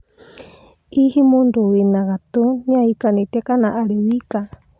ĩ hihi mũndũ wĩ ngatũ nĩahĩkanĩtĩe kana arĩ wĩka